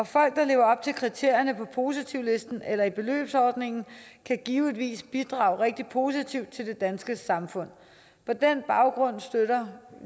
folk der lever op til kriterierne på positivlisten eller i beløbsordningen kan givetvis bidrage rigtig positivt til det danske samfund på den baggrund støtter